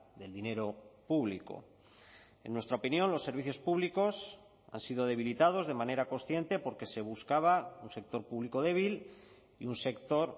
del dinero público en nuestra opinión los servicios públicos han sido debilitados de manera consciente porque se buscaba un sector público débil y un sector